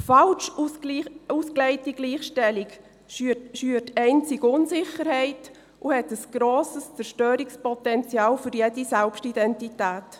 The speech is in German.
Falsch ausgelegte Gleichstellung schürt einzig Unsicherheit und hat ein grosses Zerstörungspotenzial für jede Selbstidentität.